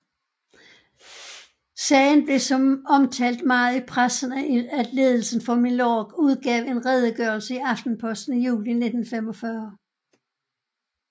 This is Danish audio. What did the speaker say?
Sagen blev så omtalt meget i pressen at ledelsen for Milorg udgav en redegørelse i Aftenposten i juli 1945